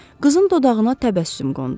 Qızın dodağına təbəssüm qondu.